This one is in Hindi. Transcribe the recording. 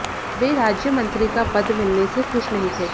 वे राज्य मंत्री का पद मिलने से खुश नहीं थे